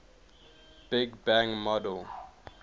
big bang model